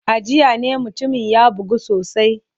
A jiya ne mutumin ya bugu sosai.